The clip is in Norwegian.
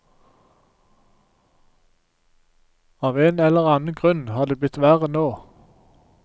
Av en eller annen grunn har det blitt verre nå.